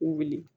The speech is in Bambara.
U wili